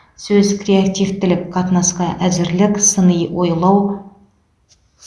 сөз креативтілік қатынасқа әзірлік сыни ойлау